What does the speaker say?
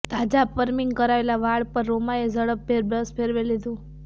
તાજાં perming કરાવેલાં વાળ પર રોમાએ ઝડપભેર બ્રશ ફેરવી લીધું